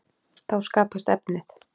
Þá skapast efnið.